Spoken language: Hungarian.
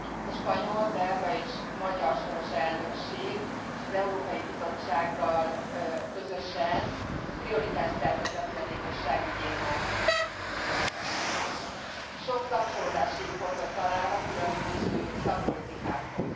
A spanyol, belga és magyar soros elnökség az Európai Bizottsággal közösen prioritást szerzett a fogyatékosság ügyének, sok kapcsolódási pontot találva különböző szakpolitikákhoz.